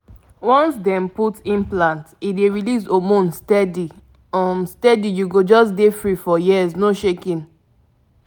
implant matter be say e dey drop hormone small-small steady — e help you hold belle matter tight um i mean m!